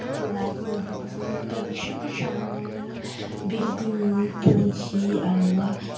ti lai hmun hi chu bank hrang hrangg building pawn hi a lang a.